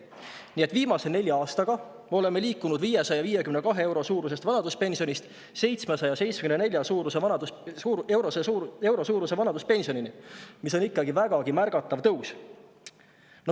Nii et viimase nelja aastaga oleme liikunud 552 euro suurusest vanaduspensionist 774 euro suuruse vanaduspensionini, mis on ikkagi vägagi märgatav tõus.